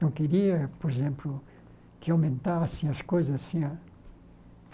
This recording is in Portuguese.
Não queria, por exemplo, que aumentassem as coisas assim a.